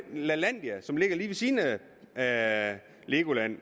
lalandia som ligger lige ved siden af legoland